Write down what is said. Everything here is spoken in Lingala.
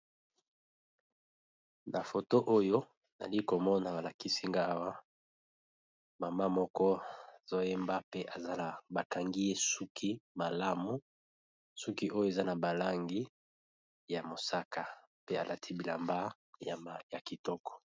Na photo Oyo nali konona balakisi Nagai Awa maman moko mbakangiye suki suki Wana eza ya Langi ya mosaka pee ya kitiko